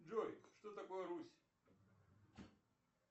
джой что такое русь